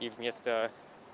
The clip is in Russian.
и вместо